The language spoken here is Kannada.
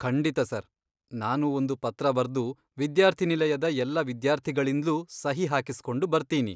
ಖಂಡಿತ ಸರ್, ನಾನು ಒಂದು ಪತ್ರ ಬರ್ದು ವಿದ್ಯಾರ್ಥಿನಿಲಯದ ಎಲ್ಲ ವಿದ್ಯಾರ್ಥಿಗಳಿಂದ್ಲೂ ಸಹಿ ಹಾಕಿಸ್ಕೊಂಡು ಬರ್ತೀನಿ.